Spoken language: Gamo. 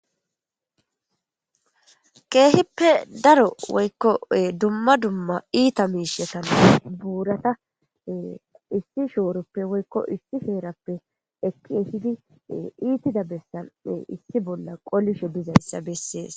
Keehippe daro woykkoe dumma dumma iita miishetane buurata issi shooroppe woykko issi feerappe eki ehidi iitida bessan issi bolla qolisho dizayssa bessees.